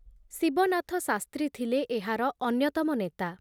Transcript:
ଶିବନାଥ ଶାସ୍ତ୍ରୀ ଥିଲେ ଏହାର ଅନ୍ୟତମ ନେତା ।